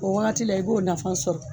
O wagati la i b'o nafa sɔrɔ.